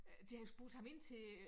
Øh de har spurgt ham ind til øh